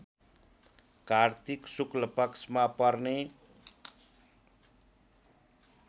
कार्तिक शुक्लपक्षमा पर्ने